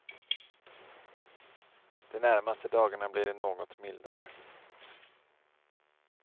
De närmaste dagarna blir det något mildare.